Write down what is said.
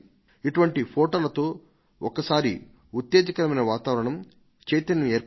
ఇటువంటి ఫొటోలతో ఒక్కసారి ఉత్తేజకరమైన వాతావరణం చైతన్యం ఏర్పడి